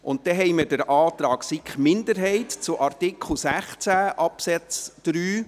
Dann haben wir den Antrag der SiK-Minderheit zu Artikel 16 Absatz 3